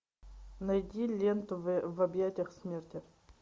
найди ленту в объятиях смерти